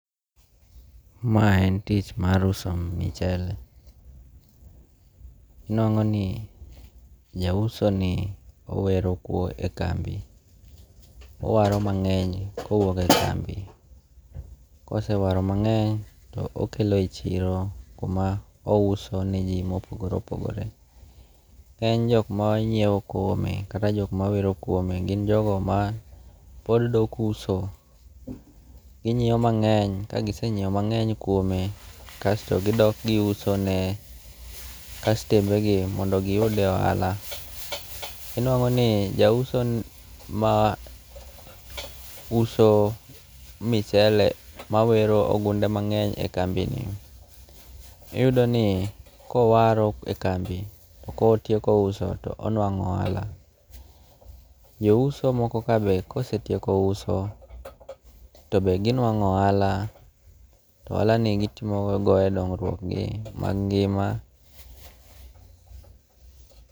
Mae en tich mar uso michele. Inwang'o ni ja uso ni owero e kambi. Owaro mang'eny kowuok e kambi. Kose waro mang'eny to okelo e yi chiro kuma ouso ne ji mopogore opogore. Kaen jok monyiew kuome kata jok mawero kuome gin jogo ma pod dok uso. Ginyiew mang'eny kagise nyiew mang'eny kuome kasto gidok gi use ne kastembe gi mondo giyude ohala. Iyudo ni ja uso ma use michele mawero ogunde mang'eny e kambi ni, iyudo ni kowaro e kambi to kotieko uso to onuang'o ohala. Jo uso moko ka be kosetioeko uso tobe ginuang'o ohala. To ohala ni gitimo go e dongruok gi mag ngima.